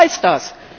Was heißt das?